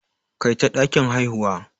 Kai ta dakin haihuwa.